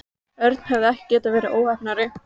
Örn hefði ekki getað verið óheppnari.